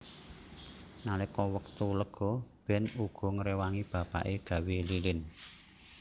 Nalika wektu lega Ben uga ngrewangi bapake gawé lilin